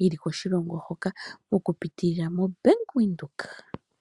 yeli koshilongo hoka oku pitila mOmbaanga yaVenduka.